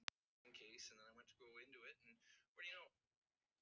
Birtna, opnaðu dagatalið mitt.